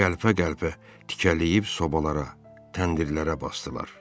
Qəlpə-qəlpə tikələyib sobalara, təndirlərə basdılar.